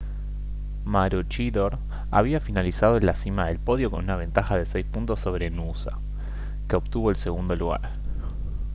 maroochydore había finalizado en la cima del podio con una ventaja de seis puntos sobre noosa que obtuvo el segundo lugar